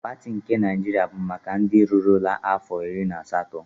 Pati nke Naịjiria bụ maka ndị rurula afọ iri na asatọ.